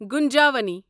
گُنجاونی